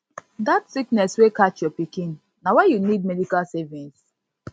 dat sickness wey catch your pikin na why you need medical savings